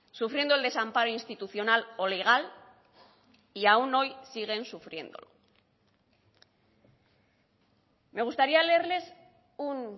sufriendo el desamparo institucional o legal y aún hoy siguen sufriendo me gustaría leerles un